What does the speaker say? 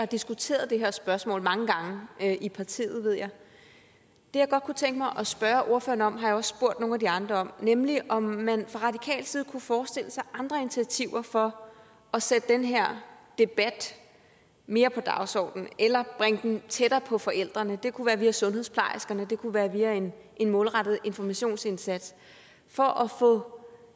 diskuteret det her spørgsmål mange gange i partiet ved jeg det jeg godt kunne tænke mig at spørge ordføreren om har jeg også spurgt nogle af de andre om nemlig om man fra radikal side kunne forestille sig andre initiativer for at sætte den her debat mere på dagsordenen eller bringe den tættere på forældrene det kunne være via sundhedsplejerskerne det kunne være via en målrettet informationsindsats for at få